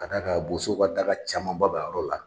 Ka d'a kan bosow ka daka camanba b'a yɔrɔ la.